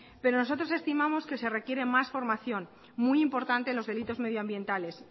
pero nosotros estimamos que se requiere más formación muy importante en los delitos medioambientales